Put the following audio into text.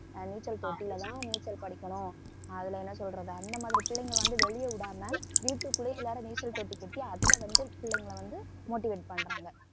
ஆஹ் நீச்சல் போட்டியிலதான் நீச்சல் படிக்கணும் அதுல என்ன சொல்றது அந்த மாதிரி பிள்ளைங்களை வந்து வெளிய விடாம வீட்டுக்குள்ளயே எல்லாரும் நீச்சல் தொட்டி கட்டி அதுல வந்து பிள்ளைங்களை வந்து motivate பண்றாங்க